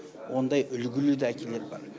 ондай үлгілі де әкелер бар